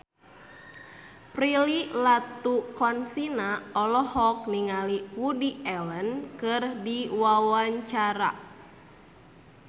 Prilly Latuconsina olohok ningali Woody Allen keur diwawancara